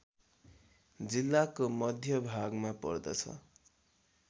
जिल्लाको मध्यभागमा पर्दछ